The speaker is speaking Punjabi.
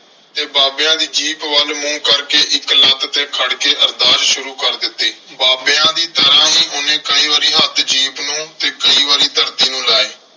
ਤੇ ਬਾਬਿਆਂ ਦੀ ਜੀਪ ਵੱਲ ਮੂੰਹ ਕਰਕੇ ਇੱਕ ਲੱਤ ਤੇ ਖੜ ਕੇ ਅਰਦਾਸ ਸ਼ੁਰੂ ਕਰ ਦਿੱਤੀ। ਬਾਬਿਆਂ ਦੀ ਤਰ੍ਹਾਂ ਹੀ ਉਹਨੇ ਕਈ ਵਾਰੀ ਹੱਥ ਜੀਪ ਨੂੰ ਤੇ ਕਈ ਵਾਰੀ ਧਰਤੀ ਨੂੰ ਲਾਏ।